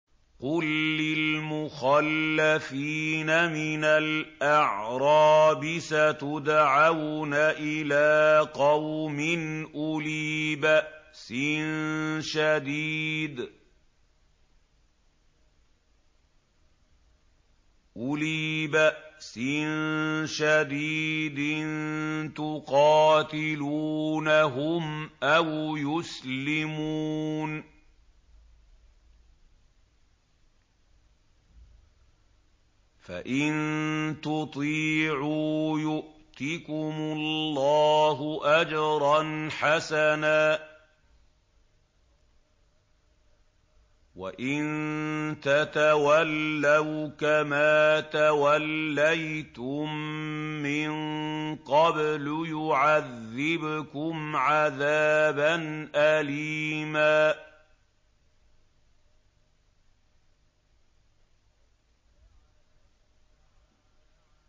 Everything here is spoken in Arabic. قُل لِّلْمُخَلَّفِينَ مِنَ الْأَعْرَابِ سَتُدْعَوْنَ إِلَىٰ قَوْمٍ أُولِي بَأْسٍ شَدِيدٍ تُقَاتِلُونَهُمْ أَوْ يُسْلِمُونَ ۖ فَإِن تُطِيعُوا يُؤْتِكُمُ اللَّهُ أَجْرًا حَسَنًا ۖ وَإِن تَتَوَلَّوْا كَمَا تَوَلَّيْتُم مِّن قَبْلُ يُعَذِّبْكُمْ عَذَابًا أَلِيمًا